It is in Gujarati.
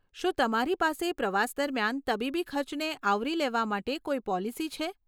શું તમારી પાસે પ્રવાસ દરમિયાન તબીબી ખર્ચને આવરી લેવા માટે કોઈ પોલિસી છે?